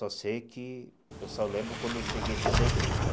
Só sei que... Eu só lembro quando eu cheguei dentro da igreja, né?